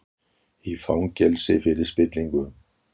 Í fangelsi fyrir spillingu